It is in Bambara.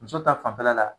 Muso ta fanfɛla la